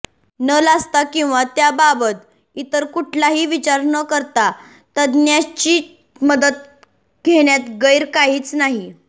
न लाजता किंवा त्याबाबत इतर कुठलाही विचार न करता तज्ज्ञांची मदत घेण्यात गैर काहीच नाही